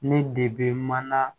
Ne de bɛ mana